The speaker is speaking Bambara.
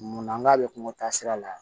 Munna n k'a bɛ kungo taasira la